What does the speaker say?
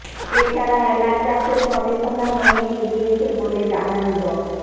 এ ছাড়া এলাচ চাষের গবেষণাও অনেক এগিয়েছে বলে জানান ড